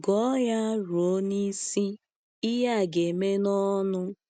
Gụọ ya ruo n’isi, ihe a ga-eme n’ọṅụ.